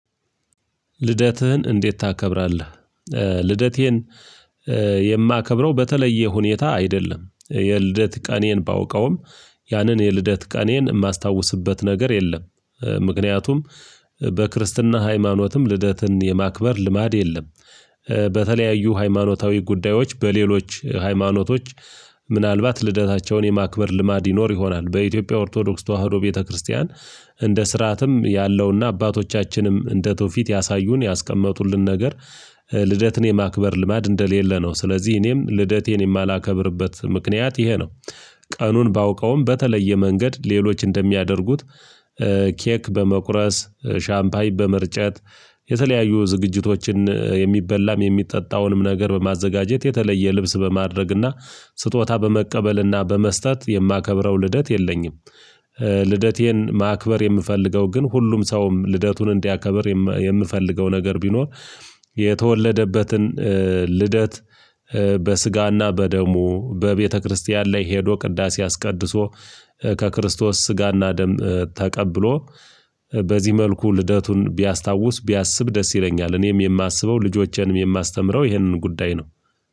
ልደትህን እንዴት ታከብራለህ? ልደቴን የማከብረው በተለየ ሁኔታ አይደለም የልደት ቀኔን ባውቀውም ያንን የልደት ቀኔን የማስታውስበት ነገር የለም። ምክንያቱም በክርስትና ሃይማኖትም ልደትን የማክበር ልማድ የለም። በተለያዩ ሃይማኖታዊ ጉዳዮች በሌሎች ሃይማኖቶች ምናልባት ልደታቸውን የማክበር ልማድ ይኖር ይሆናል በኢትዮጵያ ኦርቶዶክስ ተዋህዶ ቤተክርስቲያን እንደ ስርዓትም ያለውና አባቶቻችንም እንደ ትውፊት ያሳዩን ያስቀመጡልን ነገር ልደትን የማክበር ልማድ እንደሌለ ነው ስለዚህ እኔም ልደቴን የማላከብርበት ምክንያት ይሄ ነው። ቀኑን ባውቀውም በተለየ መንገድ ሌሎች እንደሚያደርጉት ኬክ በመቁረስ ሻምፓይ በመርጨት የተለያዩ ዝግጅቶችን የሚበላም የሚጠጣውንም ነገር በማዘጋጀት የተለየ ልብስ በማድረግና ስጦታ በመቀበልና በመስጠት የማከብረው ልደት የለኝም። ልደቴን ማክበር የምፈልገው ግን ሁሉም ሰውም ልደቱን እንዲያከብር የም የምፈልገው ነገር ቢኖር የተወለደበትን ልደት በስጋና በደሙ በቤተክርስቲያን ላይ ሄዶ ቅዳሴ አስቀድሶ ከክርስቶስ ስጋና ደም ተቀብሎ በዚህ መልኩ ልደቱን ቢያስታውስ ቢያስብ ደስ ይለኛል። እኔም የማስበው ልጆቼንም የማስተምረው ይህንን ጉዳይ ነው።